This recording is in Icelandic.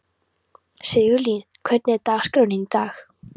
Sigurlín, hvernig er dagskráin í dag?